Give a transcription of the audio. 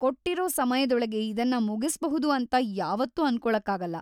ಕೊಟ್ಟಿರೋ ಸಮಯದೊಳಗೆ ಇದನ್ನ ಮುಗಿಸ್ಬಹುದು ಅಂತ ಯಾವತ್ತೂ ಅನ್ಕೊಳಕ್ಕಾಗಲ್ಲ.